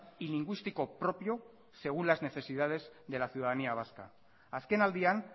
y lingüístico propio según las necesidades de la ciudadanía vasca azkenaldian